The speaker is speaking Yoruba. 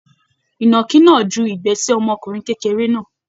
Ìnàkí náà jù igbẹ́ sí ọmọkùnrin kékeré náà.